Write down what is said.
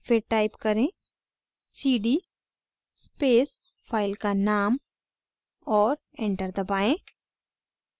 फिर type करें: cd space file का name और enter दबाएं